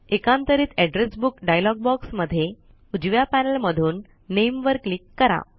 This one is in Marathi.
एकांतरित एड्रेस बुक डायलॉग बॉक्स मध्ये उजव्या पैनल मधून नामे वर क्लिक करा